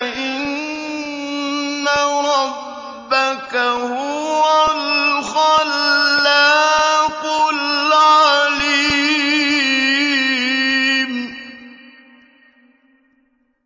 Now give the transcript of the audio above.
إِنَّ رَبَّكَ هُوَ الْخَلَّاقُ الْعَلِيمُ